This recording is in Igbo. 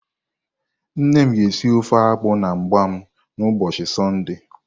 Nne m ga esi ofe akpu na mgbam n'ubochi Sunday.